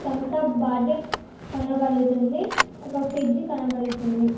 Thums Up bottle కనబడుతుంది ఒక fridge కనబడుతుంది.